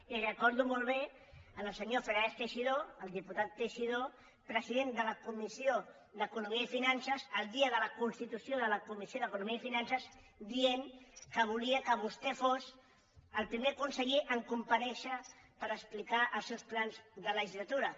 i recordo molt bé el senyor fernández teixidó el diputat teixidó president de la comissió d’economia i finances el dia de la constitució de la comissió d’economia i finances dient que volia que vostè fos el primer conseller a comparèixer per explicar els seus plans de legislatura